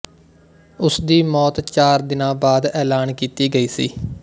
ਉਸ ਦੀ ਮੌਤ ਚਾਰ ਦਿਨਾ ਬਾਅਦ ਐਲਾਨ ਕੀਤੀ ਗਈ ਸੀ